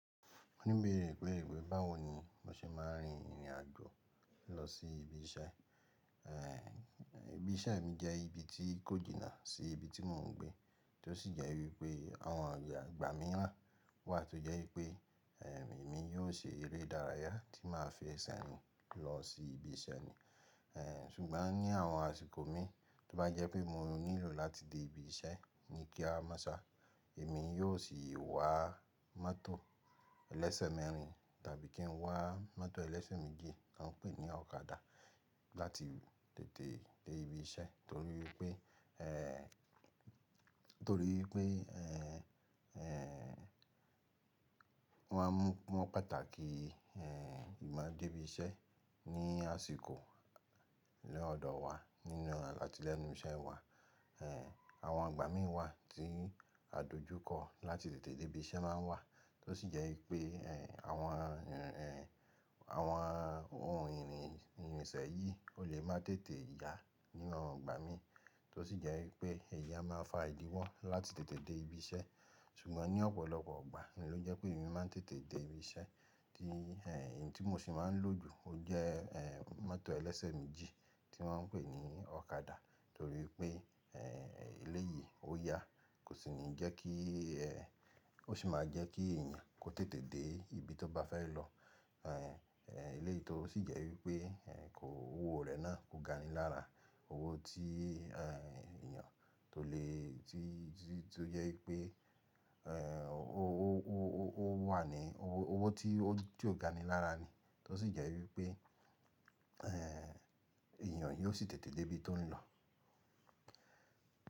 Mo ní bèrè pé, báwo ni mo ṣe ma rìn ìrìn àjò lọ sí ibi iṣẹ́. Eh, ibi iṣẹ́ mi jẹ́ ibi tí kójìná sí ibi tí mò ń gbé, tí ó sì jẹ́ wípé àwọn ìgbà mìràn wà tó jẹ́ wípé, eh, èmi yóò ṣe eré ìdárayá tí máa fi ẹsẹ̀ rìn lọ sí ibi iṣẹ́ mi. Eh, ṣùgbọ́n ní àwọn àsìkò mi tó bá jẹ́ pé mo nílò láti dé ibi iṣẹ́ ní kíá máṣa, èmi yóò sì wá mọ́tò ẹlẹ́sẹ̀ mẹ́rin tàbí kí n wá mọ́tò ẹlẹ́sẹ̀ méjì tí wọ́n ń pè ní ọ̀kadà láti tètè dé ibi iṣẹ́. Torí pé, eh, torí pé, eh, eh, wọ́n pàtàkì, eh, máa dé ibi iṣẹ́ ní àsìkò ní ọ̀dọ̀ wa nínú atí lẹ́nu iṣẹ́ wà. Eh, àwọn ìgbà mi wà tí àdojúkọ láti tètè dé ibi iṣẹ́ máa ń wà, tó sì jẹ́ wípé, eh, àwọn, eh, àwọn ohun ìrìn ìrìnsẹ̀ yìí ó lè má tètè yá nínú ọ̀gbà mi, tó sì jẹ́ wípé èyí amá fa ìdíwọ́ láti tètè dé ibi iṣẹ́. Ṣùgbọ́n ní ọ̀pọ̀lọpọ̀ ìgbà, òun ló jẹ́ pé èmi máa ń tètè dé ibi iṣẹ́ tí, eh, èyí tí mo sì máa ń lò jù ó jẹ́, eh, mọ́tò ẹlẹ́sẹ̀ méjì tí wọ́n ń pè ní ọ̀kadà. Torí pé, eh, eléyìí ó yá, kò sì ní jẹ́ kí, eh, ó sì máa jẹ́ kí èèyàn kò tètè dé ibi tó bá fẹ́ lọ. Eléyìí tó sì jẹ́ wípé, eh, kò, owó rẹ̀ náà kò gani lára. Owó tí, eh, èèyàn tó lè, tí, tí, tó jẹ́ wípé, eh, ó wà ní, owó, owó tí ó, tí ó gani lára ni. Tó sì jẹ́ wípé, eh èèyàn yóò sì tètè dé ibi tó ń lọ.